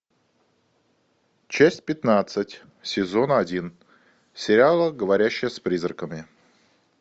часть пятнадцать сезона один сериала говорящая с призраками